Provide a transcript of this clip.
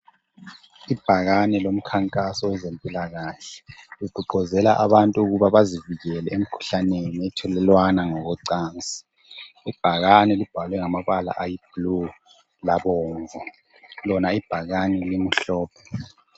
Ibhakane lomkhankaso wezempilakahle, ligqugquzela abantu ukuba bazivikele emkhuhlaneni ethelelwana ngokocansi. Ibhakane libhalwe ngamabala ayiblu labomvu. Lona ibhakane limhlophe.